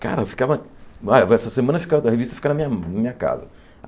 Cara, ficava ah vai essa semana ficava a revista ficava na minha na minha casa.